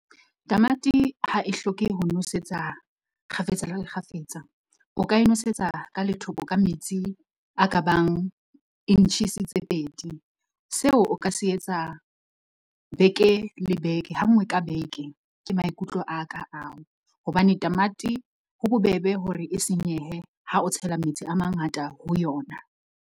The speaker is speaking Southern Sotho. Tamati ha e hloke ho nosetsa kgafetsa le le kgafetsa, o ka e nosetsa ka metsi a ka bang inches tse pedi, seo o ka se tsa ha nngwe ka beke. Ke maikutlo a ka ao, hobane tamati ho bobebe hore e senyehe ha o tshela metsi a mangata ho yona.